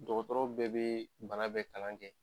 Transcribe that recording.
Dɔgɔtɔrɔ bɛɛ bee bana bɛɛ kalan kɛ.